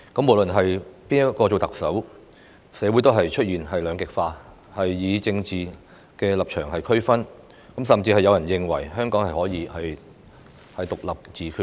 無論誰人當特首，社會同樣出現以政治立場區分的兩極化現象，甚至有人認為香港可以獨立自決。